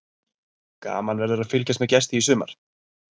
Gaman verður að fylgjast með Gesti í sumar.